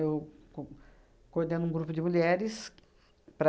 Eu co coordeno um grupo de mulheres para...